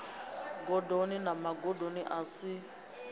gondoni na magondo a si